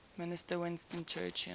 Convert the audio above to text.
minister winston churchill